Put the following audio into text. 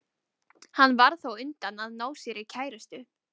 Hann varð þá á undan að ná sér í kærustu.